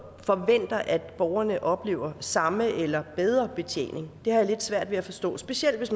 forventer at borgerne oplever samme eller bedre betjening det har jeg svært ved at forstå specielt hvis